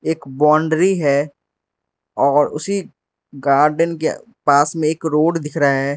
एक बाउंड्री है और उसी गार्डन के पास में एक रोड दिख रहा है।